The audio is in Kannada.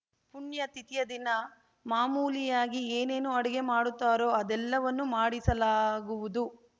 ಪುಣ್ಯತಿಥಿಯ ದಿನ ಮಾಮೂಲಿಯಾಗಿ ಏನೇನು ಅಡುಗೆ ಮಾಡುತ್ತಾರೋ ಅದೆಲ್ಲವನ್ನೂ ಮಾಡಿಸಲಾಗುವುದು